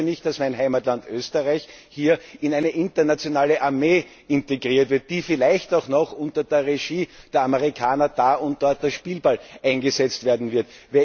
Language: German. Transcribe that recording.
Ich möchte nicht, dass mein Heimatland Österreich hier in eine internationale Armee integriert wird, die vielleicht auch noch unter der Regie der Amerikaner da und dort als Spielball eingesetzt werden wird.